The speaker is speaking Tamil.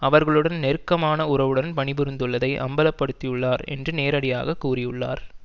அவர்களுடன் நெருக்கமான உறவுடன் பணிபுரிந்துள்ளதை அம்பலப்படுத்தியுள்ளார் என்று நேரடியாக கூறியுள்ளார்